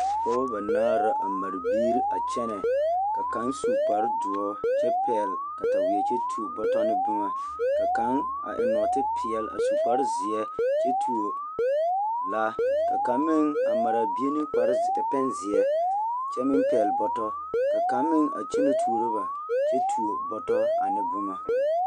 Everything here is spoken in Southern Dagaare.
Pɔɔbɔ banaare la a mare biiri a kyɛnɛ ka ba su kpardoɔr kyɛ pɛɡele kataweɛ kyɛ tuo bɔtɔ ne boma ka kaŋ eŋ nɔɔtepeɛl kyɛ su kparzeɛ kyɛ tuo laa ka kaŋ meŋ a mare a bie ne pɛnzeɛ kyɛ meŋ pɛɡele bɔtɔ ka kaŋ meŋ a kyɛnɛ tuoro ba kyɛ tuo bɔtɔ ane boma.